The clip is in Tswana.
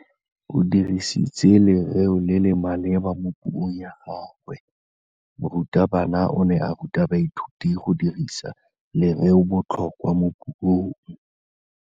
O dirisitse lerêo le le maleba mo puông ya gagwe. Morutabana o ne a ruta baithuti go dirisa lêrêôbotlhôkwa mo puong.